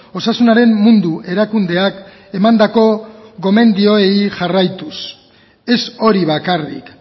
osasunaren mundu erakundeak emandako gomendioei jarraituz ez hori bakarrik